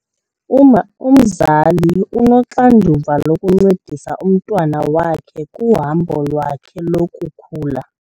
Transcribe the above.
Umzali unoxanduva lokuncedisa umntwana wakhe kuhambo lwakhe lokukhula.